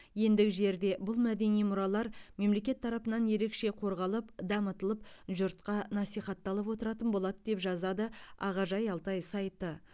ендігі жерде бұл мәдени мұралар мемлекет тарапынан ерекше қорғалып дамытылып жұртқа нәсихатталып отыратын болады деп жазады ағажай алтай сайты